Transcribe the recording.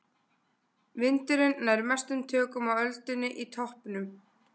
Vindurinn nær mestum tökum á öldunni í toppnum.